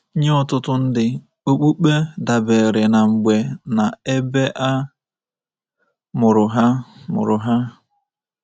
Nye ọtụtụ ndị, okpukpe dabeere na mgbe na ebe a mụrụ ha. mụrụ ha.